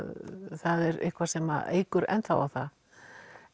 það er eitthvað sem eykur ennþá á það